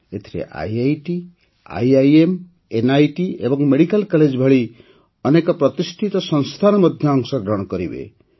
ଏଥିରେ IIT IIM NIT ଏବଂ medical college ଭଳି ଅନେକ ପ୍ରତିଷ୍ଠିତ ସଂସ୍ଥାନ ମଧ୍ୟ ଅଂଶଗ୍ରହଣ କରିବେ